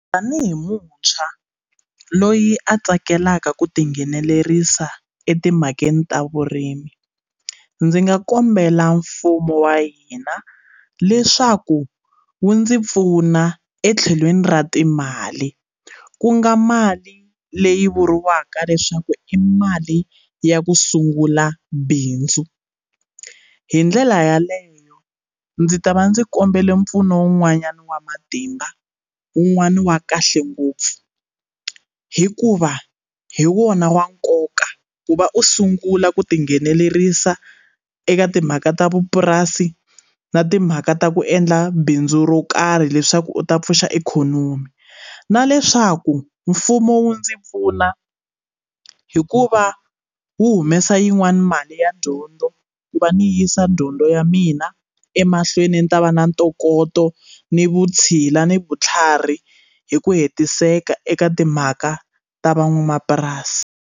Tanihi muntshwa loyi a tsakelaka ku tinghenelerisa e timhakeni ta vurimi ndzi nga kombela mfumo wa hina leswaku wu ndzi pfuna etlhelweni ra timali ku nga mali leyi vuriwaka leswaku i mali ya ku sungula bindzu hi ndlela yaleyo ndzi ta va ndzi kombela mpfuno wun'wanyana wa matimba wun'wani wa kahle ngopfu hikuva hi wona wa nkoka ku va u sungula ku tinghenelerisa eka timhaka ta vupurasi na timhaka ta ku endla bindzu ro karhi leswaku u ta pfuxa ikhonomi na leswaku mfumo wu ndzi pfuna hikuva wu humesa yin'wani mali ya dyondzo ku va ni yisa dyondzo ya mina emahlweni ni ta va na ntokoto ni vutshila ni vutlhari hi ku hetiseka eka timhaka ta van'wamapurasi.